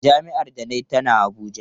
Jami’ar da na yi tana Abuja.